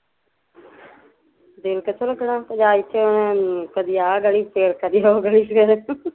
ਦਿਲ ਕਿਥੋਂ ਲੱਗਨਾ ਪੰਜਾਬ ਇੱਥੇ ਉਹਨੇ ਕਦੀ ਆਹ ਗਲੀ ਚ ਸਿਰ ਕਦੋਂ ਉਹ ਗਲੀ ਚ ਸਿਰ